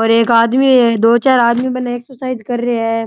और एक आदमी है दो चार आदमी बने एक्सरसाइज कर रे है।